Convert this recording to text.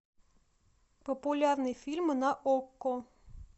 популярные фильмы на окко